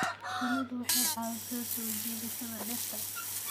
Shinnidu waxay caawisaa soo jiidashada dhirta.